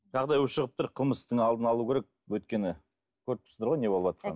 жағдай ушығып тұр қылмыстың алдын алу керек өйткені көріп тұрсыздар ғой не болыватқанын